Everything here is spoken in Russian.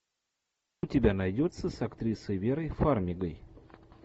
у тебя найдется с актрисой верой фармигой